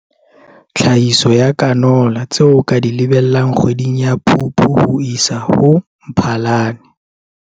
TLHAHISO YA CANOLA Tseo o ka di lebellang kgweding ya Phupu ho isa ho Mphalane